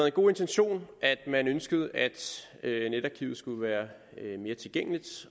en god intention at man ønskede at netarkivet skulle være mere tilgængeligt